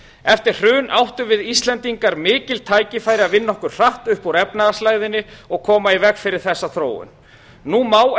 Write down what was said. eftir hrun áttum við íslendingar mikil tækifæri að vinna okkur hratt upp úr efnahagslægðinni og koma í veg fyrir þessa þróun nú má